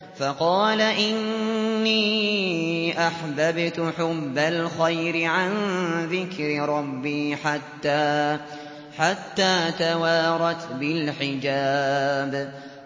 فَقَالَ إِنِّي أَحْبَبْتُ حُبَّ الْخَيْرِ عَن ذِكْرِ رَبِّي حَتَّىٰ تَوَارَتْ بِالْحِجَابِ